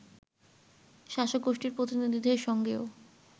শাসকগোষ্ঠীর প্রতিনিধিদের সঙ্গেও